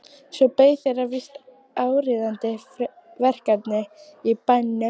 Svo beið þeirra víst áríðandi verkefni í bænum.